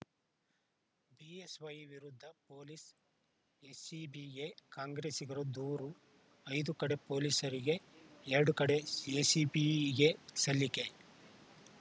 BSY ವಿರುದ್ಧ police ಎಸಿಬಿಗೆ ಕಾಂಗ್ರೆಸ್ಸಿಗರ ದೂರು ಐದು ಕಡೆ ಪೊಲೀಸರಿಗೆ ಎರಡು ಕಡೆ ಎಸಿಬಿಗೆ ಸಲ್ಲಿಕೆ